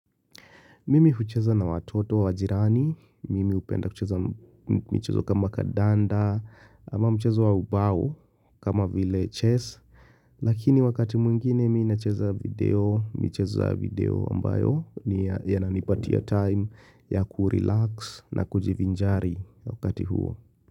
Mimi hucheza na watoto wa jirani, mimi hupenda kucheza michezo kama kandanda, ama mchezo wa ubao kama vile chess. Lakini wakati mwingine mimi nacheza video, michezo ya video ambayo yananipatia time ya kurelax na kujivinjari wakati huo.